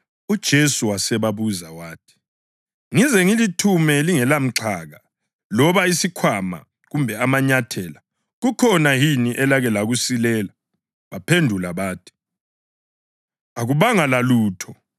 UJesu wasebabuza wathi, “Ngize ngilithume lingelamxhaka, loba isikhwama kumbe amanyathela, kukhona yini elake lakusilela?” Baphendula bathi, “Akubanga lalutho.”